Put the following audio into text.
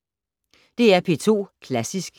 DR P2 Klassisk